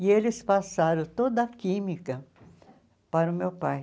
E eles passaram toda a química para o meu pai.